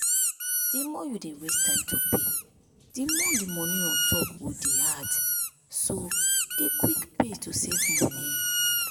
the more you dey waste time to pay the more the money on top go dey add. so dey quick pay to save money